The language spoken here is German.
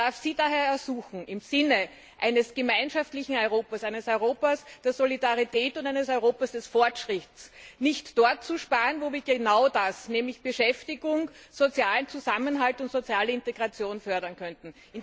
Ich darf Sie daher ersuchen, im Sinne eines gemeinschaftlichen Europas, eines Europas der Solidarität und eines Europas des Fortschritts nicht dort zu sparen, wo wir genau das nämlich Beschäftigung, sozialen Zusammenhalt und soziale Integration fördern könnten.